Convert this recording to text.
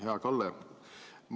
Hea Kalle!